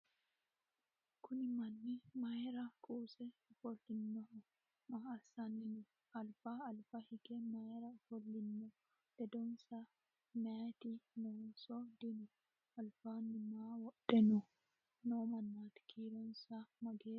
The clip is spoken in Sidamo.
kuni manni mayra kuuse ofollinoho maa assanni no alba alba hige mayra ofollino ledonsa meyati noonso dino albaanni maa wodhe noo mannaati kiironsa mageeho